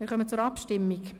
Wir kommen zur Abstimmung.